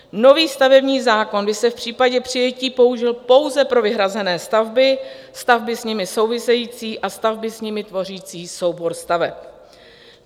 Nový stavební zákon by se v případě přijetí použil pouze pro vyhrané stavby, stavby s nimi související a stavby s nimi tvořící soubor staveb.